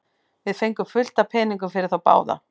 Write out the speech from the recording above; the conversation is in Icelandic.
Við fengum fullt af peningum fyrir þá báða.